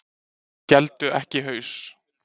Héldu ekki haus